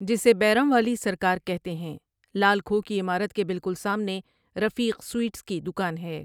جسے بیراں والی سرکار کہتے ہیں لال کھوہ کی عمارت کے بالکل سامنے رفیق سویٹس کی دکان ہے ۔